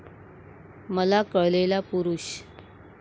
मला कळलेला पुरूष.